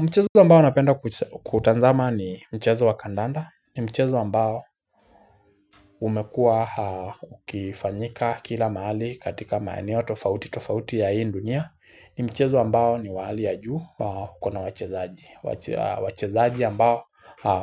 Mchezo ambao napenda kutazama ni mchezo wa kandanda, ni mchezo ambao umekua ukifanyika kila mahali katika maeneo tofauti tofauti ya hii dunia ni mchezo ambao ni wa hali ya juu kuna wachezaji, wachezaji ambao